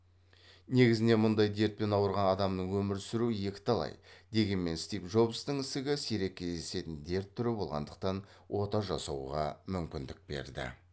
негізінен мұндай дертпен ауырған адамның өмір сүруі екіталай дегенмен стив джобстың ісігі сирек кездесетін дерт түрі болғандықтан ота жасауға мүмкіндік берді